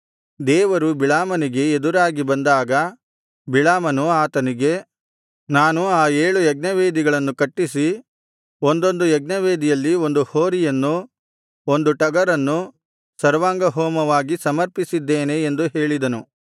ದೇವರು ಬಿಳಾಮನಿಗೆ ಎದುರಾಗಿ ಬಂದಾಗ ಬಿಳಾಮನು ಆತನಿಗೆ ನಾನು ಆ ಏಳು ಯಜ್ಞವೇದಿಗಳನ್ನು ಕಟ್ಟಿಸಿ ಒಂದೊಂದು ಯಜ್ಞವೇದಿಯಲ್ಲಿ ಒಂದು ಹೋರಿಯನ್ನು ಒಂದು ಟಗರನ್ನು ಸರ್ವಾಂಗಹೋಮವಾಗಿ ಸಮರ್ಪಿಸಿದ್ದೇನೆ ಎಂದು ಹೇಳಿದನು